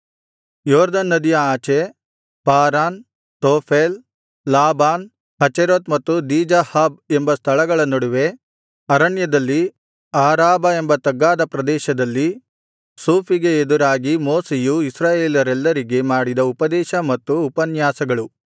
ಯೊರ್ದನ್ ನದಿಯ ಆಚೆ ಪಾರಾನ್ ತೋಫೆಲ್ ಲಾಬಾನ್ ಹಚೇರೋತ್ ಮತ್ತು ದೀಜಾಹಾಬ್ ಎಂಬ ಸ್ಥಳಗಳ ನಡುವೆ ಅರಣ್ಯದಲ್ಲಿ ಆರಾಬಾ ಎಂಬ ತಗ್ಗಾದ ಪ್ರದೇಶದಲ್ಲಿ ಸೂಫಿಗೆ ಎದುರಾಗಿ ಮೋಶೆಯು ಇಸ್ರಾಯೇಲರೆಲ್ಲರಿಗೆ ಮಾಡಿದ ಉಪದೇಶ ಮತ್ತು ಉಪನ್ಯಾಸಗಳು